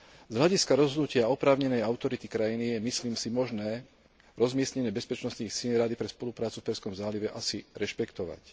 Z hľadiska rozhodnutia oprávnenej autority krajiny je, myslím si, možné rozmiestnenie bezpečnostných síl Rady pre spoluprácu v Perzskom zálive asi rešpektovať.